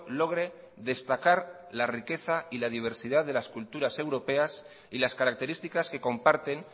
logre destacar la riqueza y la diversidad de las culturas europeas y las características que comparten